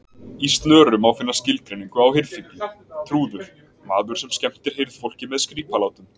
Í Snöru má finna skilgreiningu á hirðfífli: trúður, maður sem skemmtir hirðfólki með skrípalátum.